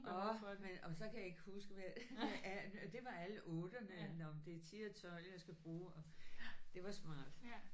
Åh men og så kan jeg ikke huske med hvad der er det var alle otterne nåh men det er 10 og 12 jeg skal bruge og det var smart